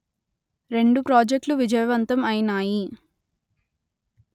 రెండు ప్రాజెక్ట్లు విజయవంతం అయినాయి